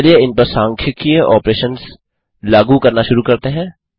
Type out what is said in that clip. चलिए इनपर संख्यिकीय ऑपरेशंस लागू करना शुरू करते हैं